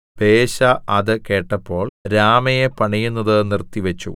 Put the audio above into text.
ബയെശാ അത് കേട്ടപ്പോൾ രാമയെ പണിയുന്നത് നിർത്തി വെച്ചു